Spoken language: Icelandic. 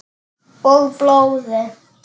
Og blóði.